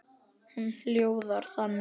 Hún hljóðar þannig